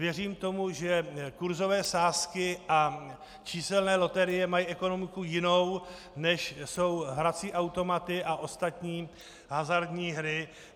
Věřím tomu, že kurzové sázky a číselné loterie mají ekonomiku jinou, než jsou hrací automaty a ostatní hazardní hry.